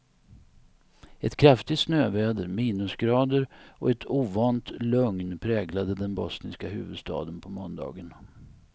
Ett kraftigt snöväder, minusgrader och ett ovant lugn präglade den bosniska huvudstaden på måndagen.